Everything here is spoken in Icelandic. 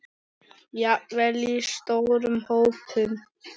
Jafnvel í stórum hópum?